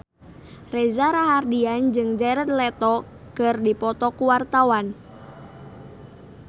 Reza Rahardian jeung Jared Leto keur dipoto ku wartawan